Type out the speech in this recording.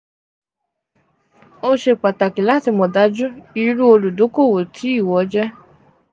o ṣe pataki lati mọ̀ daju iru oludokowo ti ìwọ jẹ́